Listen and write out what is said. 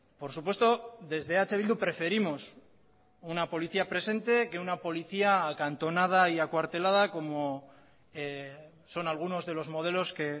por supuesto desde eh bildu preferimos una policía presente que una policía acantonada y acuartelada como son algunos de los modelos que